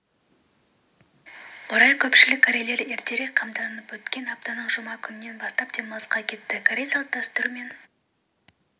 орай көпшілік корейлер ертерек қамданып өткен аптаның жұма күнінен бастап демалысқа кетті корей салт-дәстүр мен